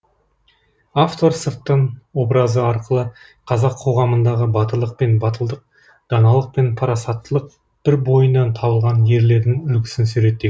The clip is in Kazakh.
автор сырттан образы арқылы қазақ қоғамындағы батырлық пен батылдық даналық пен парасаттылық бір бойынан табылған ерлердің үлгісін суреттеген